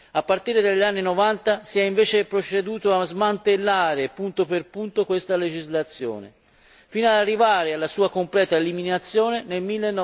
A partire dagli anni '90 si è invece proceduto a smantellare, punto per punto, questa legislazione, fino ad arrivare alla sua completa eliminazione nel